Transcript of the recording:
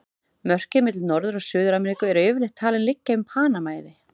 Mörkin milli Norður- og Suður-Ameríku eru yfirleitt talin liggja um Panama-eiði.